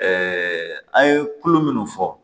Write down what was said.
an ye kulo minnu fɔ